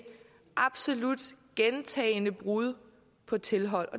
absolut gentagne brud på tilhold